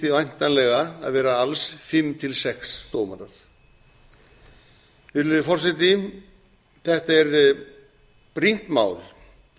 væntanlega að vera alls fimm til sex dómarar virðulegi forseti þetta er brýnt mál